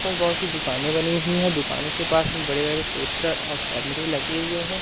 पास बहोत सी दुकानें बनी हुई हैं दुकानों के पास में बड़े बड़े पोस्टर और कैमरे लगे हुए हैं।